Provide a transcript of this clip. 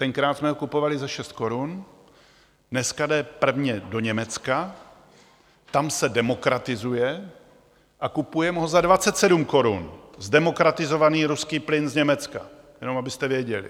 Tenkrát jsme ho kupovali za 6 korun, dneska jde prvně do Německa, tam se demokratizuje a kupujeme ho za 27 korun - zdemokratizovaný ruský plyn z Německa, jenom abyste věděli.